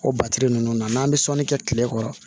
O ninnu na n'an bɛ sɔnni kɛ kile kɔrɔ